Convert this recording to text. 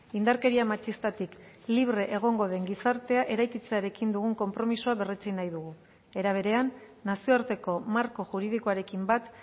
indarkeria matxistatik libre egongo den gizartea eraikitzearekin dugun konpromisoa berretsi nahi dugu era berean nazioarteko marko juridikoarekin bat